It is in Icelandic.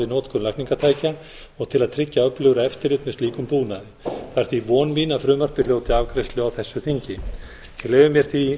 notkun lækningatækja og til að tryggja öflugra eftirlit með slíkum búnaði það er því von mín að frumvarpið hljóti afgreiðslu á þessu þingi ég leyfi mér því